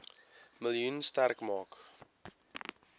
miljoen sterk maak